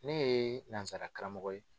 Ne ye nansara karamɔgɔ ye.